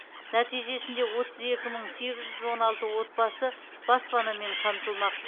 нәтижесінде отыз екі мың сегіз жүз он алты отбасы баспанамен қамтылмақ